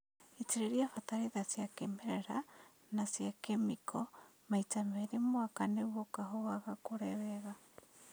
Itĩrĩria bataraitha cia kĩmerera na cia kĩmĩko maita merĩ mwaka nĩguo kahũa gakũre wega